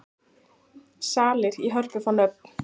Salir í Hörpu fá nöfn